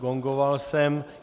Gongoval jsem.